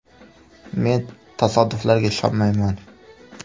Men tasodiflarga ishonmayman.